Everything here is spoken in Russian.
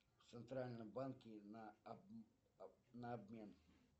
в центральном банке на обмен